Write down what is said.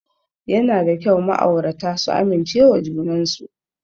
Yana da kyau ma'aurata su amincewa junan su.